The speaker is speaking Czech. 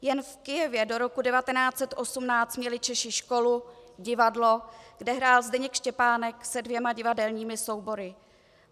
Jen v Kyjevě do roku 1918 měli Češi školu, divadlo, kde hrál Zdeněk Štěpánek se dvěma divadelními soubory.